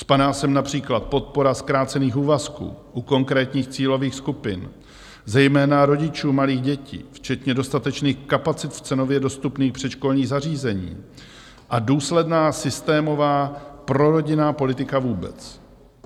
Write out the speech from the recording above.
Spadá sem například podpora zkrácených úvazků u konkrétních cílových skupin, zejména rodičů malých dětí, včetně dostatečných kapacit v cenově dostupných předškolních zařízeních a důsledná systémová prorodinná politika vůbec.